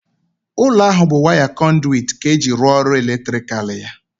Ụlọ ahụ bụ waya kọnduwit ka eji rụọ ọrụ eletrikal ya.